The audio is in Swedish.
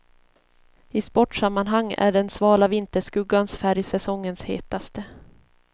I sportsammanhang är den svala vinterskuggans färg säsongens hetaste.